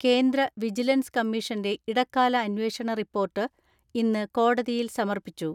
കേന്ദ്ര വിജിലൻസ് കമ്മീഷന്റെ ഇടക്കാല അന്വേഷണ റിപ്പോർട്ട് ഇന്ന് കോടതിയിൽ സമർപ്പിച്ചു.